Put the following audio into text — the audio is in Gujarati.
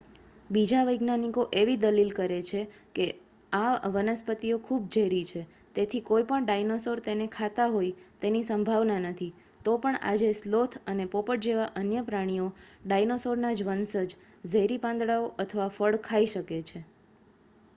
બીજા વૈજ્ઞાનિકો એવી દલીલ કરે છે કે આ વનસ્પતિઓ ખૂબ ઝેરી છે તેથી કોઇપણ ડાઈનોસોર તેને ખાતા હોય તેની સંભાવના નથી તો પણ આજે સ્લોથ અને પોપટ જેવા અન્ય પ્રાણીઓ ડાયનોસોરનાં વંશજ ઝેરી પાંદડાઓ અથવા ફળ ખાઈ શકે છે